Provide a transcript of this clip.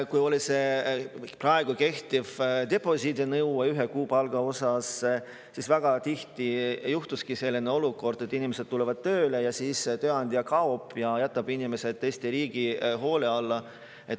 Kui oli see praegu kehtiv deposiidinõue ühe kuupalga, siis väga tihti juhtuski selline olukord, et inimesed tulevad tööle ja siis tööandja kaob ja jätab inimesed Eesti riigi hoole alla.